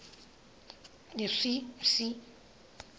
behleli bhaxa phantsi